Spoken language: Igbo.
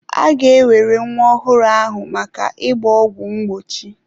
A ga-ewere nwa ọhụrụ ahụ maka ịgba ọgwụ mgbochi.